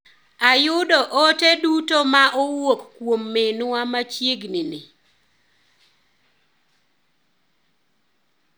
Ayudo ote duto ma owuok kuom minwa machieg ni ni.